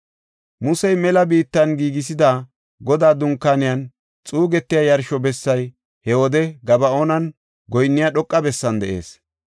Musey mela biittan giigisida, Godaa Dunkaaneynne xuussa yarsho bessay he wode Gaba7oonan goyinniya dhoqa bessan de7ees.